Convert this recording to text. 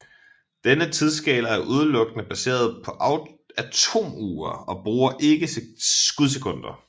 Denne tidsskala er udelukkende baseret på atomure og bruger ikke skudsekunder